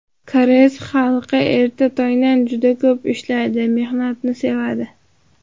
Koreys xalqi erta tongdan juda ko‘p ishlaydi mehnatni sevadi.